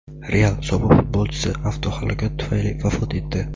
"Real" sobiq futbolchisi avtohalokat tufayli vafot etdi;.